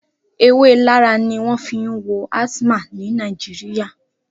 Ewé Larra ni wọn fi ń wo asthma ní Nàìjíríyà